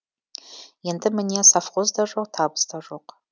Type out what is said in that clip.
енді міне совхоз да жоқ табыс та жоқ